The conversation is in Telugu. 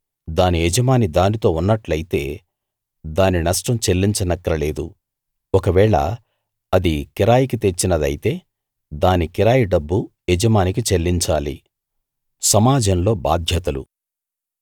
దాని యజమాని దానితో ఉన్నట్టయితే దాని నష్టం చెల్లించనక్కర లేదు ఒకవేళ అది కిరాయికి తెచ్చినదైతే దాని కిరాయి డబ్బు యజమానికి చెల్లించాలి